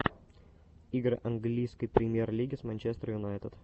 игры английской премьер лиги с манчестер юнайтед